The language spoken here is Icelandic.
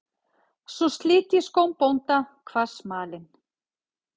Svo slit ég skóm bónda, kvað smalinn.